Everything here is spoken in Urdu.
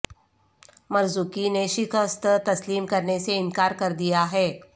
مرزوقی نے شکست تسلیم کرنے سے انکار کر دیا ہے